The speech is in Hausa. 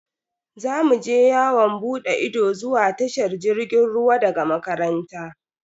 Za mu je yawon bude ido zuwa tashar jirgin ruwa daga makaranta.